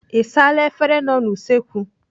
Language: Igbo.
Ị saala efere nọ n'usekwu?